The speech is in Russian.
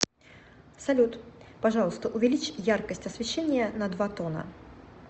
салют пожалуйста увеличь яркость освещения на два тона